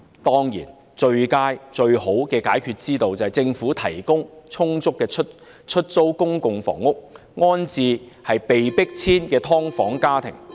當然，最佳的解決之道，是政府提供充足的出租公共房屋，安置被迫遷的"劏房"家庭。